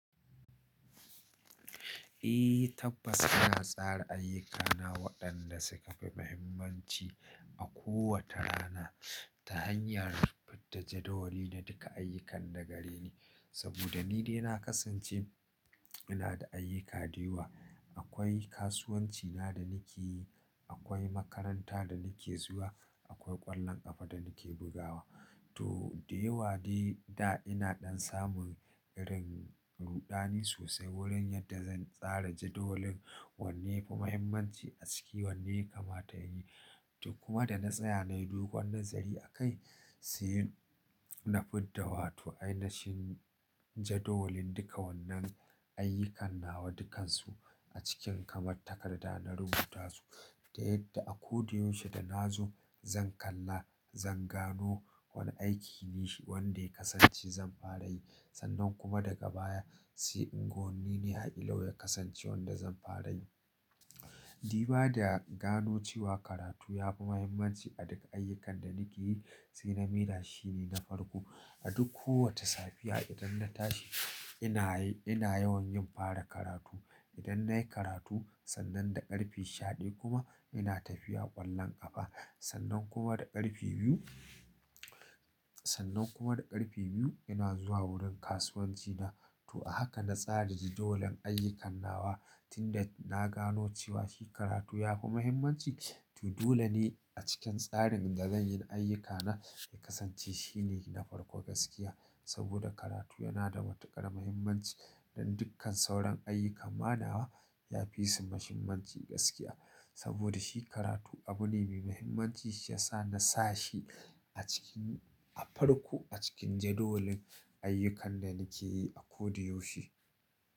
Eh tabbas ina tsara ayyukana waɗanda suka fi muhimmanci a kowace rana ta hanyar fidda jadawali na duka ayyukan da gare ni. Saboda ni dai na kasance ina da ayyuka da yawa. Akwai kasuwanci na da nake yi, akwai makaranta da nake zuwa, akwai ƙwallon ƙafa da nake bugawa. To da yawa dai da ina ɗan samun irin ruɗani sosai wurin yadda zan tsara jadawalin, wanne ya fi muhimmanci a ciki wanne ya kama nayi. To kuma da na tsaya nayi dogon nazari a kai, sai na fidda wato ai nashin jadawalin duka wannan ayyukan na wa dukansu a cikin kamar takarda na rubuta su. Da yadda a ko da yaushe da nazo zan kalla, zan gano, wane aiki ne shi wanda ya kasance zan fara yi. Sannan kuma daga baya sai ingon ni ne a ido yayi kasance wanda zan fara yi. Di ba da gano cewa karatu ya fi muhimmanci a duk ayyukan da nake yi sai na mai da shi ne na farko. A duk kowace safiya idan na tashi ina yi ina yawan yin fara karatu. Idan nayi karatu sannan da ƙarfe shaɗaya kuma ina tafiya ƙwallon ƙafa. Da yadda a ko da yaushe da nazo zan kalla, zan gano, wane aiki ne shi wanda ya kasance zan fara yi. To a haka na tsara jadawalin ayyukan na wa tunda na gano cewa shi karatu ya fi muhimmanci. To dole ne a cikin tsarin da zanyi ayyuka na shi ya kasance shi ne na farko gaskiya. Saboda karatu yana da matuƙar muhimmanci don dukkan sauran ayyukan ma nawa yafi su muhimmanci gaskiya. Saboda shi karatu abu ne mai muhimmanci shi yasa na sa shi a cikin a farko a cikin jadawalin ayyukan da nake yi a ko da yaushe.